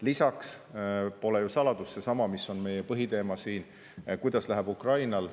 Lisaks pole ju saladus, et ka seesama mõjutab, mis on meie põhiteema siin: kuidas läheb Ukrainal.